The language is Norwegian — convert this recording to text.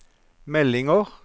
meldinger